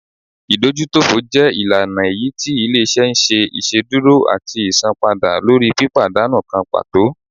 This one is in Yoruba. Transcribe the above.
ìdójútòfò jẹ ìlànà èyítí ilé-iṣẹ́ n ṣe iṣedúró atí isánpàda lórí pípadánú kan pàtó